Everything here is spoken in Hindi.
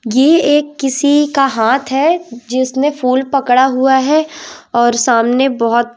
ये एक किसी का हाथ है जिसने फूल पकड़ा हुआ है और सामने बहोत--